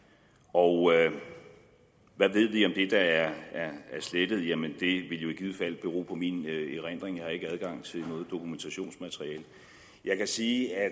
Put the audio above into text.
og hvad ved vi om det der er slettet jamen det ville jo i givet fald bero på min erindring jeg har ikke adgang til noget dokumentationsmateriale jeg kan sige at